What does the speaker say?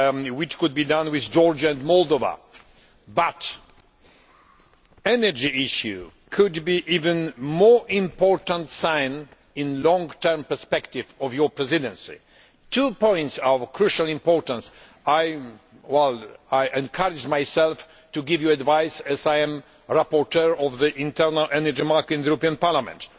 which could be made with Georgia and Moldova. But the energy issue could be an even more important sign in a long term perspective of your Presidency. Two points are of crucial importance I encourage myself to give you advice as I am the rapporteur for the internal energy market in this Parliament.